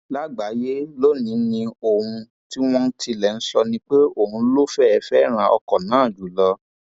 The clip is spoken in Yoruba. lágbáyé lọnìní ohun tí wọn tilẹ ń sọ ni pé òun ló fẹẹ fẹràn ọkọ náà jù lọ